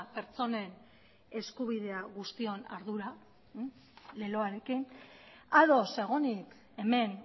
pertsonen guztion ardura leloarekin ados egonik hemen